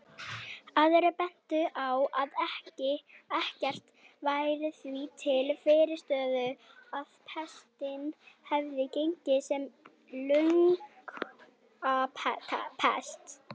Aðrir bentu á að ekkert væri því til fyrirstöðu að pestin hefði gengið sem lungnapest.